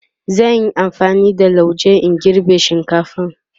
zan Yi amfani da lauje in girbe shinkatfar